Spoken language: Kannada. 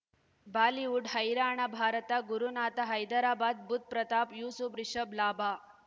ಬಾಲಿವುಡ್ ಹೈರಾಣ ಭಾರತ ಗುರುನಾಥ ಹೈದರಾಬಾದ್ ಬುಧ್ ಪ್ರತಾಪ್ ಯೂಸುಫ್ ರಿಷಬ್ ಲಾಭ